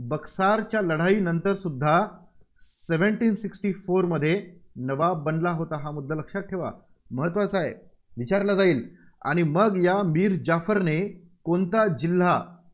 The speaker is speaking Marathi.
बक्सारच्या लढाईनंतरसुद्धा seventeen sixty four मध्ये नवाब बनला होता. हा मुद्दा लक्षात ठेवा. महत्त्वाचा आहे विचारला जाईल. आणि मग या मीर जाफरने कोणता जिल्हा